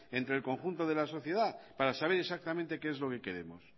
entre el conjunto de la sociedad para saber exactamente qué es lo queremos